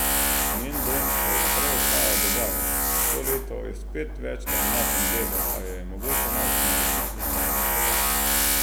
Njen dom še naprej ostaja Dubaj, to leto je spet več na domačem Bledu, a jo je mogoče najti na različnih koncih sveta.